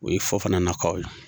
O ye Fɔfana na kaw ye.